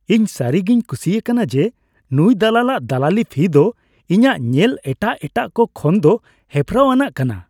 ᱤᱧ ᱥᱟᱹᱨᱤᱜᱤᱧ ᱠᱩᱥᱤ ᱟᱠᱟᱱᱟ ᱡᱮ ᱱᱩᱭ ᱫᱟᱞᱟᱞᱟᱜ ᱫᱟᱞᱟᱞᱤ ᱯᱷᱤ ᱫᱚ ᱤᱧᱟᱹᱜ ᱧᱮᱞ ᱮᱴᱟᱜ ᱮᱴᱟᱜ ᱠᱚ ᱠᱷᱚᱱᱫᱚ ᱦᱮᱯᱨᱟᱣ ᱟᱱᱟᱜ ᱠᱟᱱᱟ ᱾